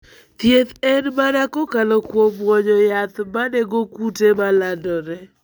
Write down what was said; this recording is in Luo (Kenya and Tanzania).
Thieth en mana kokalo kuom muonyo yath manego kute ma landore.